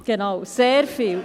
Genau, sehr viel.